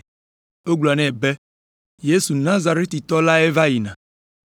Wogblɔ nɛ be, “Yesu Nazaretitɔ lae va yina.”